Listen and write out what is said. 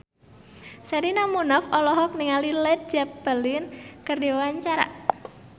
Sherina Munaf olohok ningali Led Zeppelin keur diwawancara